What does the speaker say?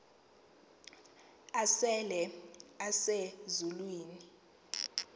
asele ese zulwini